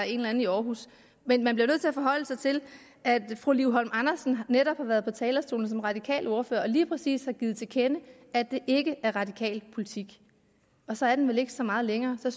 en eller anden i aarhus men man bliver nødt til at forholde sig til at fru liv holm andersen netop har været på talerstolen som radikal ordfører og lige præcis har givet til kende at det ikke er radikal politik og så er den vel ikke så meget længere så